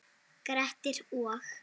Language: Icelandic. Grettir og